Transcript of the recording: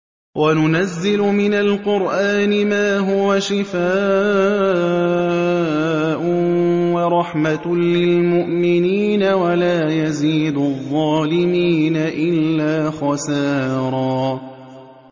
وَنُنَزِّلُ مِنَ الْقُرْآنِ مَا هُوَ شِفَاءٌ وَرَحْمَةٌ لِّلْمُؤْمِنِينَ ۙ وَلَا يَزِيدُ الظَّالِمِينَ إِلَّا خَسَارًا